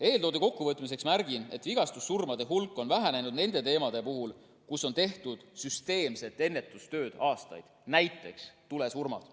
Eeltoodu kokkuvõtteks märgin, et vigastussurmade hulk on vähenenud nende teemade puhul, kus aastaid on tehtud süsteemselt ennetustööd, näiteks tulesurmad.